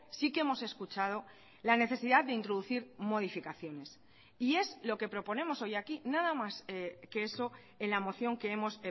sí que hemos escuchado la necesidad de introducir modificaciones y es lo que proponemos hoy aquí nada más que eso en la moción que hemos